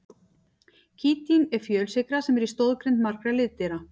Kítín er fjölsykra sem er í stoðgrind margra liðdýra.